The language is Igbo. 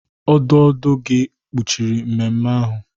ọdụ ọdụ gị kpuchiri mmemme ahụ?